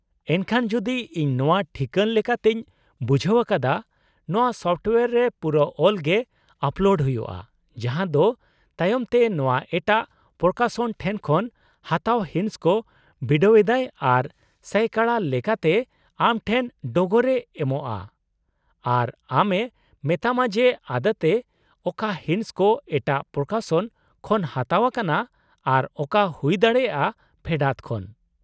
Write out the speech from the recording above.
ᱮᱱᱠᱷᱟᱱ, ᱡᱩᱫᱤ ᱤᱧ ᱱᱚᱶᱟ ᱴᱷᱤᱠᱟᱹᱱ ᱞᱮᱠᱟᱛᱮᱧ ᱵᱩᱡᱷᱟᱹᱣ ᱟᱠᱟᱫᱟ, ᱱᱚᱶᱟ ᱥᱚᱯᱷᱚᱴᱳᱭᱟᱨ ᱨᱮ ᱯᱩᱨᱟᱹ ᱚᱞ ᱜᱮ ᱟᱯᱞᱳᱰ ᱦᱩᱭᱩᱜᱼᱟ, ᱡᱟᱦᱟᱸ ᱫᱚ ᱛᱟᱭᱚᱢ ᱛᱮ ᱱᱚᱶᱟ ᱮᱴᱟᱜ ᱯᱨᱚᱠᱟᱥᱚᱱ ᱴᱷᱮᱱ ᱠᱷᱚᱱ ᱦᱟᱛᱟᱣ ᱦᱤᱸᱥ ᱠᱚ ᱵᱤᱰᱟᱹᱣ ᱮᱫᱟᱭ ᱟᱨ ᱥᱟᱭᱠᱟᱲᱟ ᱞᱮᱠᱟᱛᱮ ᱛᱮ ᱟᱢ ᱴᱷᱮᱱ ᱰᱚᱜᱚᱨᱮ ᱮᱢᱚᱜᱼᱟ ᱟᱨ ᱟᱢ ᱮ ᱢᱮᱛᱟᱢᱟ ᱡᱮ ᱟᱫᱚᱛᱮ ᱚᱠᱟ ᱦᱤᱸᱥ ᱠᱚ ᱮᱴᱟᱜ ᱯᱨᱚᱠᱟᱥᱚᱱ ᱠᱷᱚᱱ ᱦᱟᱛᱟᱣ ᱟᱠᱟᱱᱟ ᱟᱨ ᱚᱠᱟ ᱦᱩᱭ ᱫᱟᱲᱮᱭᱟᱜᱼᱟ ᱯᱷᱮᱰᱟᱛ ᱠᱷᱚᱱ ᱾